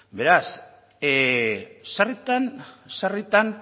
beraz sarritan sarritan